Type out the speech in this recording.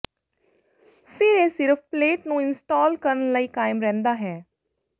ਫਿਰ ਇਹ ਸਿਰਫ਼ ਪਲੇਟ ਨੂੰ ਇੰਸਟਾਲ ਕਰਨ ਲਈ ਕਾਇਮ ਰਹਿੰਦਾ ਹੈ